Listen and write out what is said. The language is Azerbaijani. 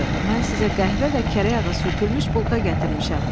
Mən sizə qəhvə və kərə yağı sürtülmüş bulka gətirmişəm.